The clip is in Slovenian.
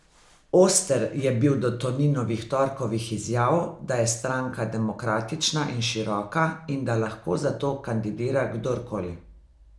Oster je bil do Toninovih torkovih izjav, da je stranka demokratična in široka in da lahko zato kandidira kdorkoli.